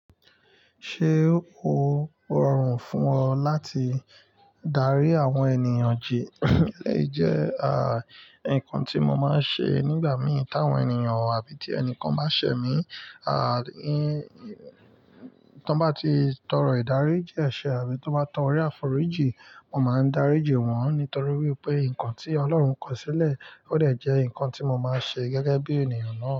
Ṣé o rọrùn fún ọ láti darí àwọn ènìyàn jì? Eleyii jẹ́, à, ǹkan tí mo máa ń ṣe nígbà mìí tí àwọn ènìyàn àbí tí ẹnìkan bá ṣẹ̀ mí, à, tí wọ́n bá ti tọrọ ìdárí jí ẹ̀sẹ̀ àbí tó bá tọrọ ìfòrí jí, mo máa ń darí jì wọ́n. Nítorí wípé ǹkan tí Ọlọ́run kọ sílẹ̀, ó dẹ̀ jẹ́ ǹkan tí mo máa ń ṣe gẹ́gẹ́ bí ènìyàn náà.